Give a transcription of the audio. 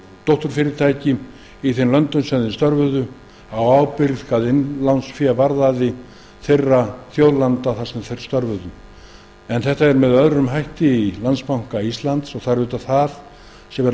dótturfyrirtæki í þeim löndum sem þeir störfuðu innlánsféð var á ábyrgð þeirra þjóðlanda sem þeir störfuðu í það var gert með öðrum hætti í landsbanka íslands og er